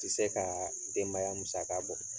Tɛ se ka denbaya musaka bɔ